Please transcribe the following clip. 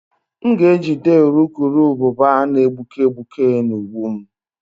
M ga-ejide urukurubụba na-egbuke egbuke na ụgbụ m